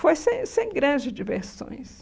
Foi sem sem grandes diversões.